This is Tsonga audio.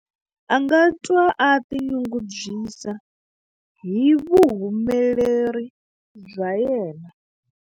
A nga twa a tinyungubyisa hi vuhumeleri bya yena.